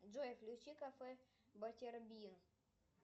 джой включи кафе батербин